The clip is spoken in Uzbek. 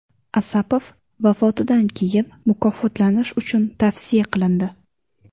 Asapov vafotidan keyin mukofotlanish uchun tavsiya qilindi.